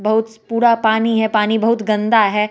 बहुत पूरा पानी है पानी बहुत गंदा है।